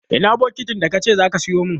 Ina bukitin da ka ce za ka sayo min?